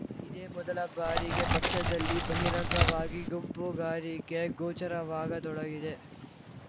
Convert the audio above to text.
ಇದೇ ಮೊದಲ ಬಾರಿಗೆ ಪಕ್ಷದಲ್ಲಿ ಬಹಿರಂಗವಾಗಿ ಗುಂಪುಗಾರಿಕೆ ಗೋಚರವಾಗತೊಡಗಿದೆ